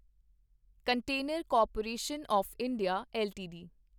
container corporation of India LTD